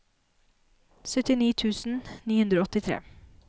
syttini tusen ni hundre og åttitre